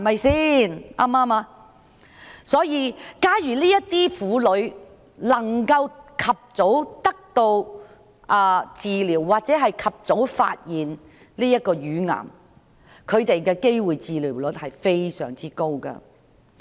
所以，假如這些婦女能夠及早得到治療，或及早發現自己罹患乳癌，她們獲治癒的機會率是非常高的。